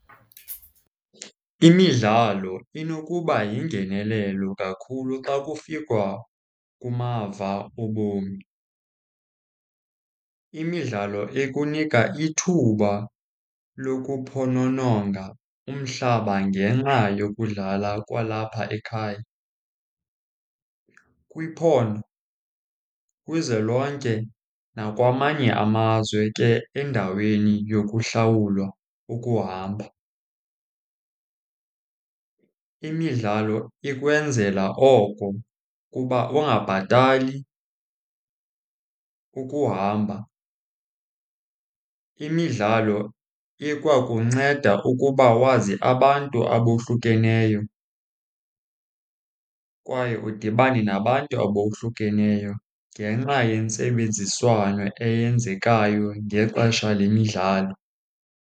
Imidlalo inokuba yingenelelo kakhulu xa kufikwa kumava obomi. Imidlalo ikunika ithuba lokuphonononga umhlaba ngenxa yokudlala kwalapha ekhaya, kwiphondo, kwizwe lonke, nakwamanye amazwe ke endaweni yokuhlawulwa ukuhamba. Imidlalo ikwenzela oko kuba ungabhatali ukuhamba. Imidlalo ikwakunceda ukuba wazi abantu abohlukeneyo kwaye udibane nabantu abohlukeneyo ngenxa yentsebenziswano eyenzekayo ngexesha lemidlalo.